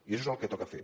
i això és el que toca fer